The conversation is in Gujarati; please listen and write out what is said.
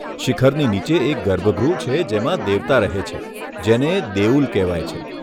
શિખરની નીચે એક ગર્ભગૃહ છે જેમાં દેવતા રહે છે, જેને દેઉલ કહેવાય છે.